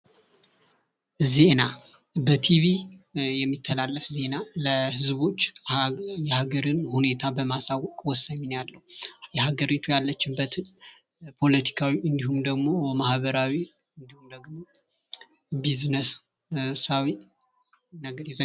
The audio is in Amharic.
ዜና የሀገርን ፖለቲካዊ እና ማህበራዊ ነገሮች ለማህበረሰቡ የሚዘገብበት ነው ።